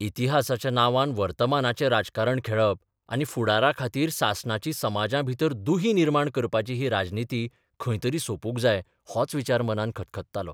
इतिहासाच्या नांवान वर्तमानाचें राजकारण खेळप आनी फुडारा खातीर सासणाची समाजांभितर दुही निर्माण करपाची ही राजनिती खंय तरी सोपूंक जाय होच विचार मनांत खतखत्तालो.